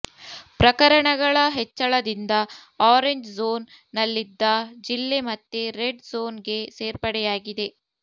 ಪ್ರಕರಣಗಳ ಹೆಚ್ಚಳದಿಂದ orange zone ನಲ್ಲಿದ್ದ ಜಿಲ್ಲೆ ಮತ್ತೆ ರೆಡ್ ಝೋನ್ ಗೆ ಸೇರ್ಪಡೆಯಾಗಿದೆ